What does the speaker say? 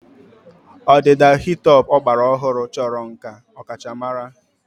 Ọdịda hi-top ọgbara ọhụrụ chọrọ nkà ọkachamara.